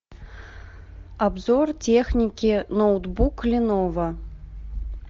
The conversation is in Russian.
обзор техники ноутбук леново